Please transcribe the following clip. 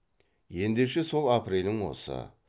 ендеше сол апрелің осы